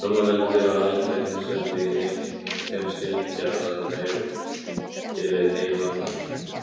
Rómaveldi var aldrei heimsveldi í þeim skilningi að það næði yfir heim allan.